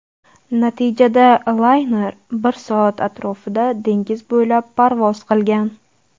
Natijada layner bir soat atrofida dengiz bo‘ylab parvoz qilgan.